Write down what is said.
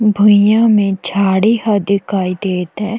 भुईयया मे झाड़ी ह दिखाई देत हैं।